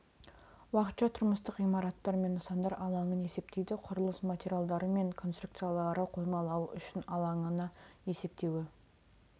уақытша тұрмыстық ғимараттар мен нысандар алаңын есептейді құрылыс материалдары мен конструкциялары қоймалауы үшін алаңына есептеуі